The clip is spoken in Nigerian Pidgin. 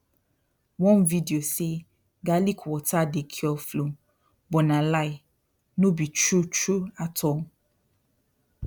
one video say garlic water dey cure flu but na lie no be true true at all